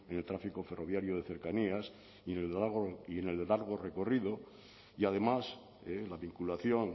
en el tráfico ferroviario de cercanías ni en el de largo recorrido y además la vinculación